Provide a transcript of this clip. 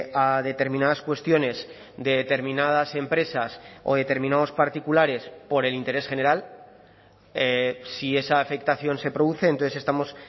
a determinadas cuestiones de determinadas empresas o determinados particulares por el interés general si esa afectación se produce entonces estamos